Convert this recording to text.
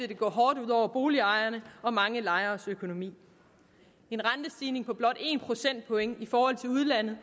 det gå hårdt ud over boligejernes og mange lejeres økonomi en rentestigning på blot en procentpoint i forhold til udlandet